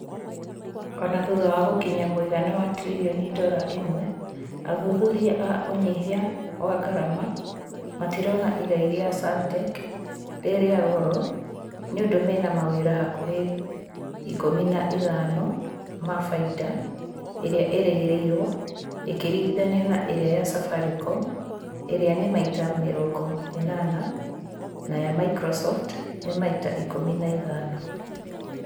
ona thutha wa gũkinyia mũigana wa tiririoni dora imwe athuthuria a ũnyihia wa ngarama matirona igai rĩa saartec rĩrĩa goro niũndũ mena mawĩra hakuhi ikumi na ithano ma faida ĩrĩa ĩrĩgĩrĩrwo ĩkĩringithanio na iria ya safaricom ĩrĩa ni maita mĩrongo ĩnana na ya microsoft ni maita ikumi na ithano